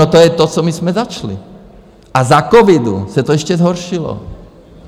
No, to je to, co my jsme začali, a za covidu se to ještě zhoršilo.